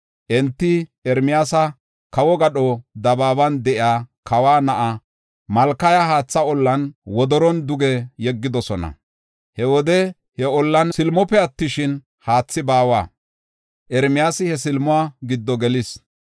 Enti Ermiyaasa kawo gadho dabaaban de7iya, kawa na7aa Malkaya haatha ollan, wodoron duge yeggidosona. He wode he ollan silimope attishin, haathi baawa; Ermiyaasi he silimuwa giddo gelis.